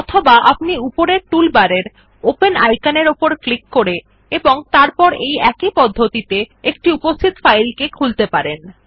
অথবা আপনি উপরের টুলবারের ওপেন আইকনের উপর ক্লিক করে এবং তারপর এই একই পদ্ধতিতে একটি উপস্হিত ফাইল খুলতে পারেন